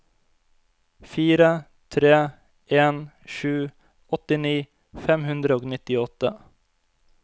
fire tre en sju åttini fem hundre og nittiåtte